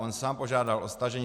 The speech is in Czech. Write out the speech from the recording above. On sám požádal o stažení.